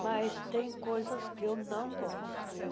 Mas tem coisas que eu não gosto.